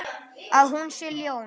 Að hún sé ljón.